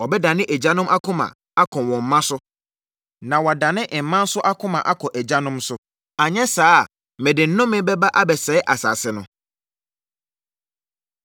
Ɔbɛdane agyanom akoma akɔ wɔn mma so, na wadane mma nso akoma akɔ agyanom so, anyɛ saa a, mede nnome bɛba abɛsɛe asase no.”